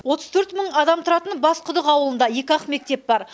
отыз төрт мың адам тұратын басқұдық ауылында екі ақ мектеп бар